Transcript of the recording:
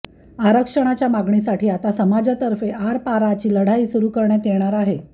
आरक्षणाच्या मागणीसाठी आता समाजातर्फे आरपारची लढाई सुरू करण्यात येणार आहे